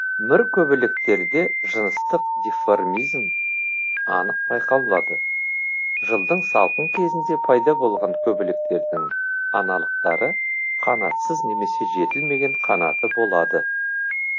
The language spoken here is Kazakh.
мүр көбелектерде жыныстық деформизм анық байқалады жылдың салқын кезінде пайда болған көбелектердің аналықтары қанатсыз немесе жетілмеген қанаты болады